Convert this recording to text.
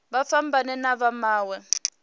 vha fhambane na vha mawe